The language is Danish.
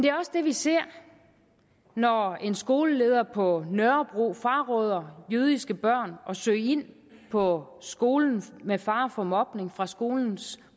er også det vi ser når en skoleleder på nørrebro fraråder jødiske børn at søge ind på skolen med fare for mobning fra skolens